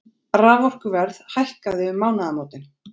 Raforkuverð hækkaði um mánaðamótin